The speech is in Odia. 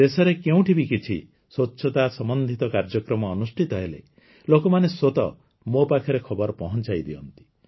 ଦେଶରେ କେଉଁଠି ବି କିଛି ସ୍ୱଚ୍ଛତା ସମ୍ବନ୍ଧିତ କାର୍ଯ୍ୟକ୍ରମ ଅନୁଷ୍ଠିତ ହେଲେ ଲୋକମାନେ ସ୍ୱତଃ ମୋ ପାଖରେ ଖବର ପହଞ୍ଚାଇଦିଅନ୍ତି